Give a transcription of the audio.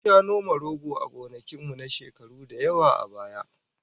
Mun sha noma rogo a gonakin mu, na shekaru da yawa a baya